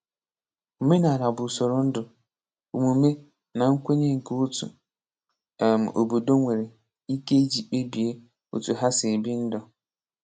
Omenala bụ usoro ndụ, omume, na nkwenye nke otu um obodo nwere ike iji kpebie otú ha si ebi ndụ.